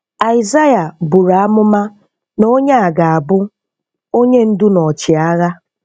Aịsaịa buru amụma na Onye a ga-abụ “onye ndú na ọchịagha.”